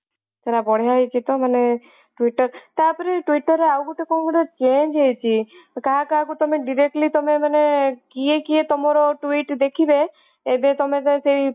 ସେଇଟା ବଢିଆ ହେଇଛି ମାନେ twitter ତାପରେ twitter ର ଆଉ ଗୋଟେ କଣ ଗୋଟେ change ହେଇଛି କାହା କାହାକୁ ତମେ directly ତମେ ମାନେ କିଏ କିଏ ତମ twit ଦେଖିବେ ଏବେ ତମେ ସେଇ parti